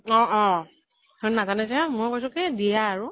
অ অ সিহতে নাজানে যে মই কৈছো কি দি আ আৰু।